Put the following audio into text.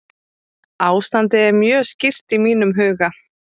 Ástandið er mjög skýrt í mínum huga.